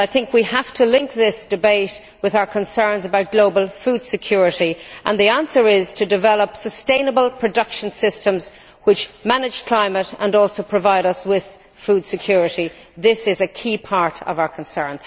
We have to link this debate with our concerns about global food security the answer is to develop sustainable production systems which manage the climate and also provide us with food security. This is a key part of our concern.